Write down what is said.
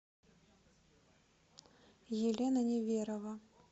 елена неверова